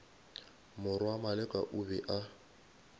morwa maleka o be a